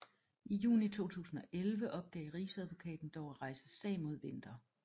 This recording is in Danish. I juni 2011 opgav Rigsadvokaten dog at rejse sag mod Winther